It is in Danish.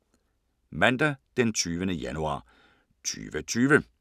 Mandag d. 20. januar 2020